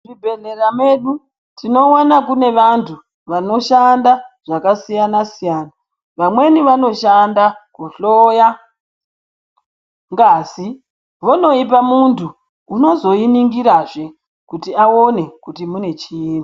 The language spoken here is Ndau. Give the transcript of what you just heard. Muzvibhodhlera medu tinowana kuine vantu vanoshanda zvakasiyana siyana vamweni vanoshanda kuhloya ngazi vindoioa muntu unozoiningerazve kuti aone kuti munechiini.